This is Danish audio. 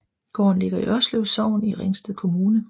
Gården ligger i Ørslev Sogn i Ringsted Kommune